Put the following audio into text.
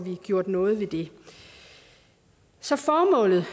gjort noget ved det så formålet